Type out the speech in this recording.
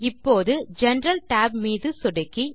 இப்போது general tab மீது சொடுக்கி